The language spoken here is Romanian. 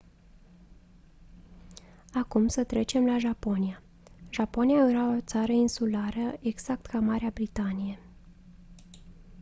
acum să trecem la japonia japonia era o țară insulară exact ca marea britanie